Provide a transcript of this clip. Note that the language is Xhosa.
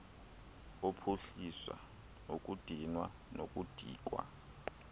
ophuhlisa ukudinwa nokudikwa